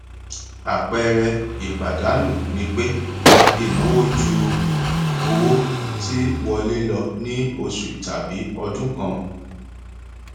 àpẹẹrẹ ìpàdánù ni pé ìnáwó ju owó tí wọlé lọ ní oṣù tàbí ọdún kan